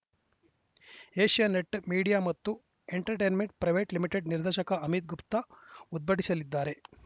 Asianet media ಮತ್ತು entertainment private limited ನಿರ್ದೇಶಕ ಅಮಿತ್‌ ಗುಪ್ತಾ ಉದ್ಘಾಟಿಸಲಿದ್ದಾರೆ